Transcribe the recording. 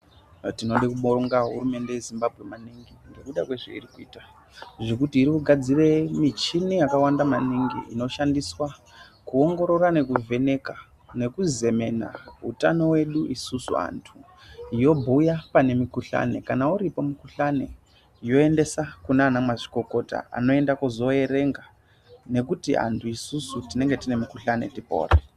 Tinode kubonga hurumende yeZimbabwe maningi ngezvayirikuita ngekuti iri kugadzira michini yakawanda maningi inoshandiswa kuongorora nekuvheneka nekuzemena utano wedu isusu vantu yobhuya pane mukuhlani kana uripo mukuhlani yoendesa kunana mazvikokota yoenda kuzoerenga nekuti antu isusu tinenge tine mukuhlani tipore.